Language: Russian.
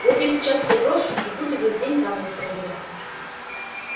вот я сейчас все брошу и буду весь день память проверять